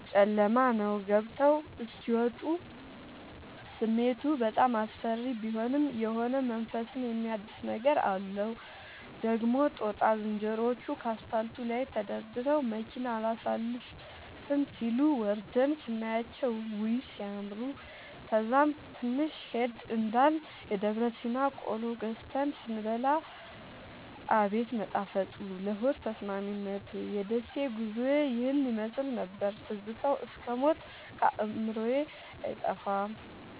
ጨለማ ነዉ ገብተዉ እስኪ ወጡ ስሜቱ በጣም አስፈሪ ቢሆንም የሆነ መንፈስን የሚያድስ ነገር አለዉ። ደግሞ ጦጣ ዝንሮዎቹ ከአስፓልቱ ላይ ተደርድረዉ መኪና አላሣልፍም ሢሉ፤ ወርደን ስናያቸዉ ዉይ! ሢያምሩ። ከዛም ትንሽ ሄድ እንዳልን የደብረሲና ቆሎ ገዝተን ስንበላ አቤት መጣፈጡ ለሆድ ተስማሚነቱ። የደሴ ጉዞዬ ይህን ይመሥል ነበር። ትዝታዉ እስክ ሞት ከአዕምሮየ አይጠፋም።